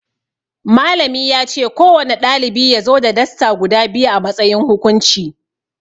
Malami yace ko wane ɗalibi yazo da Dasta guda biyu a matsayin hukunci